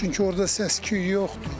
Çünki orda səs-küy yoxdur.